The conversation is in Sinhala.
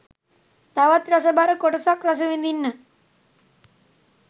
තවත් රසබර කොටසක් රස විඳින්න.